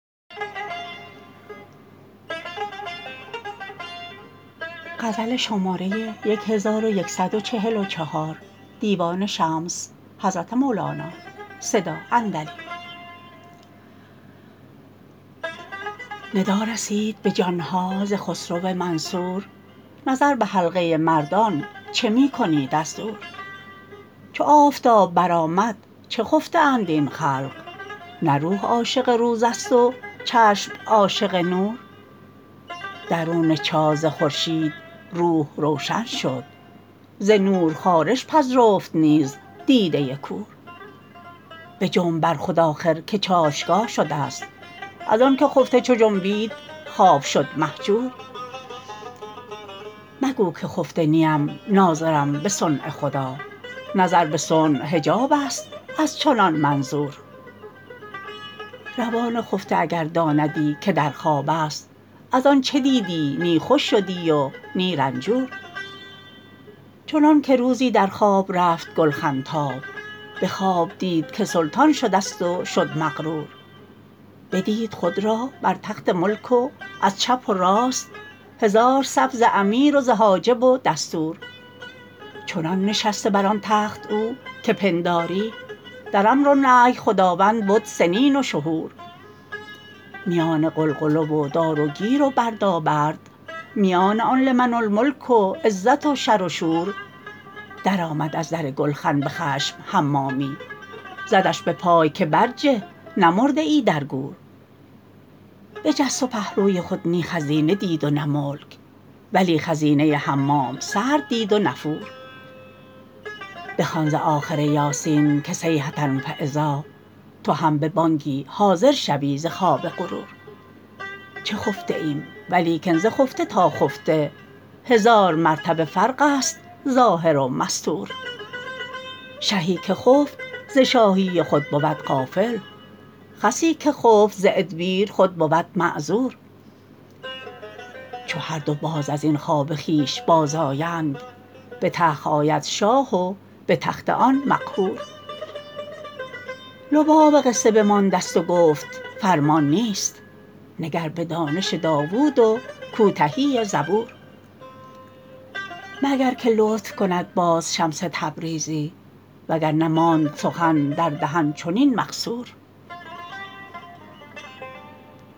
ندا رسید به جان ها ز خسرو منصور نظر به حلقه مردان چه می کنید از دور چو آفتاب برآمد چه خفته اند این خلق نه روح عاشق روزست و چشم عاشق نور درون چاه ز خورشید روح روشن شد ز نور خارش پذرفت نیز دیده کور بجنب بر خود آخر که چاشتگاه شدست از آنک خفته چو جنبید خواب شد مهجور مگو که خفته نیم ناظرم به صنع خدا نظر به صنع حجابست از چنان منظور روان خفته اگر داندی که در خوابست از آنچ دیدی نی خوش شدی و نی رنجور چنانک روزی در خواب رفت گلخن تاب به خواب دید که سلطان شدست و شد مغرور بدید خود را بر تخت ملک وز چپ و راست هزار صف ز امیر و ز حاجب و دستور چنان نشسته بر آن تخت او که پنداری در امر و نهی خداوند بد سنین و شهور میان غلغله و دار و گیر و بردابرد میان آن لمن الملک و عزت و شر و شور درآمد از در گلخن به خشم حمامی زدش به پای که برجه نه مرده ای در گور بجست و پهلوی خود نی خزینه دید و نه ملک ولی خزینه حمام سرد دید و نفور بخوان ز آخر یاسین که صیحه فاذا تو هم به بانگی حاضر شوی ز خواب غرور چه خفته ایم ولیکن ز خفته تا خفته هزار مرتبه فرقست ظاهر و مستور شهی که خفت ز شاهی خود بود غافل خسی که خفت ز ادبیر خود بود معذور چو هر دو باز از این خواب خویش بازآیند به تخت آید شاه و به تخته آن مقهور لباب قصه بماندست و گفت فرمان نیست نگر به دانش داوود و کوتهی زبور مگر که لطف کند باز شمس تبریزی وگر نه ماند سخن در دهن چنین مقصور